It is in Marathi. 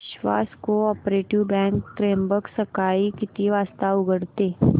विश्वास कोऑपरेटीव बँक त्र्यंबक सकाळी किती वाजता उघडते